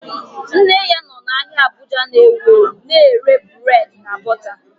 Nne ya nọ n'ahia Abuja na ewu ewu na-ere burédi na bọta